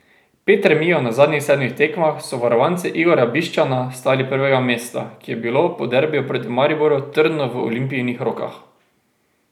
Pet remijev na zadnjih sedmih tekmah so varovance Igorja Bišćana stali prvega mesta, ki je bilo po derbiju proti Mariboru trdno v Olimpijinih rokah.